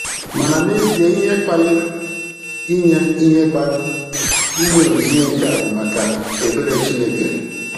Mana n'ezie ihe kpaliir inye ihe kpaliir inye onyinye nke a bụ maka ebere Chineke.